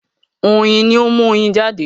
oyin ní o mu oyin jade.